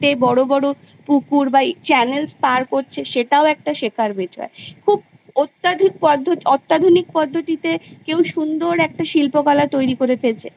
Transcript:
বড়ো বড়ো পুকুর বা এই Channels পার করছে সেতও একটা শেখার বিষয় খুব অত্যাধিক পদ্ধতি অত্যাধুনিক পদ্ধতিতে কেউ সুন্দর একটা শিল্পকলা তৈরী করে ফেলছে